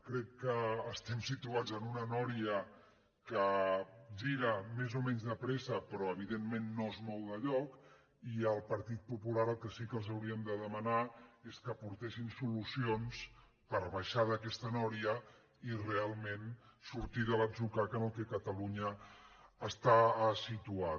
crec que estem situats en una roda que gira més o menys de pressa però evidentment no es mou de lloc i al partit popular el que sí que els hauríem de demanar és que aportessin solucions per baixar d’aquesta roda i realment sortir de l’atzucac en què catalunya està situada